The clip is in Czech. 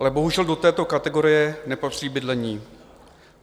Ale bohužel, do této kategorie nepatří bydlení.